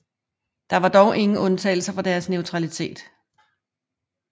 Der var dog undtagelser fra deres neutralitet